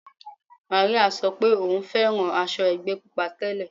Màríà sọ pé òun fẹ́ràn aṣọ ẹgbẹ́ Pupa tẹ́lẹ̀.